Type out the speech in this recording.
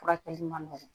Furakɛli man nɔgɔ